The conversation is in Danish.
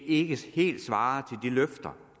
ikke helt svarer til de løfter